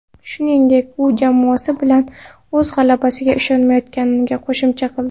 Shuningdek, u jamoasi bilan o‘z g‘alabasiga ishonayotganini qo‘shimcha qildi.